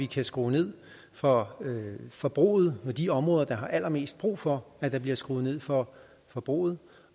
kan skrues ned for forbruget i de områder der har allermest brug for at der bliver skruet ned for forbruget